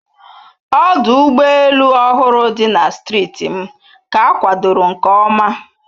Ọdụ ụgbọ elu ọhụrụ dị na steeti m ka akwadoro nke oma